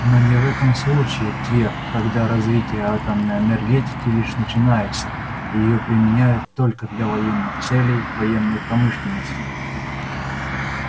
но не в этом случае твер когда развитие атомной энергетики лишь начинается и её применяют только для военных целей военной промышленности